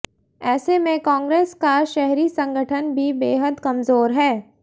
ऐसे में कांग्रेस का शहरी संगठन भी बेहद कमजोर है